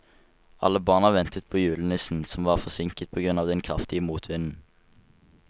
Alle barna ventet på julenissen, som var forsinket på grunn av den kraftige motvinden.